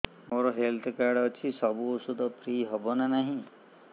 ମୋର health card ଅଛି ସବୁ ଔଷଧ ଫ୍ରି ହବ ନା ନାହିଁ